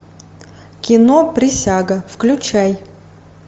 кино присяга включай